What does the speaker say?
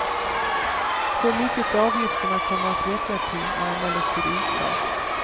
Hur mycket avgifterna kommer att räcka till är emellertid oklart.